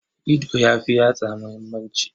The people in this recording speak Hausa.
Ido ya fi yatsa muhimmanci.